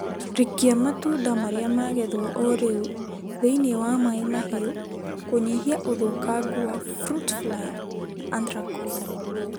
Rikia matunda marĩa magethwo o rĩu thĩinĩ wa maĩ mahiũ kũnyihia ũthũkangu wa fruit fly na anthracnose